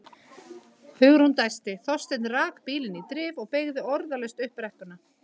Hugrún dæsti, Þorsteinn rak bílinn í drif og beygði orðalaust upp brekkuna.